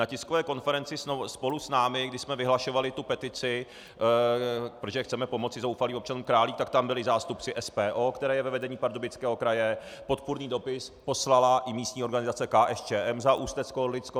Na tiskové konferenci spolu s námi, když jsme vyhlašovali tu petici, protože chceme pomoci zoufalým občanům Králík, tak tam byli zástupci SPO, které je ve vedení Pardubického kraje, podpůrný dopis poslala i místní organizace KSČM za Ústeckoorlicko.